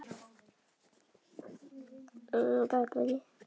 miklu máli.